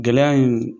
Gɛlɛya in